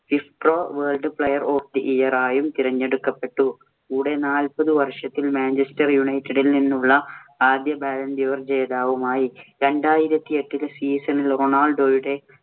FIFPro World Player of the Year ആയും തിരഞ്ഞെടുക്കപ്പെട്ടു. കൂടെ നാല്പത് വർഷത്തിൽ മാഞ്ചസ്റ്റർ യുണൈറ്റഡിൽ നിന്നുമുള്ള ആദ്യ balloon d'or ജേതാവുമായി. രണ്ടായിരത്തി എട്ടില്‍ season ഇല്‍ റൊണാൾഡോയുടെ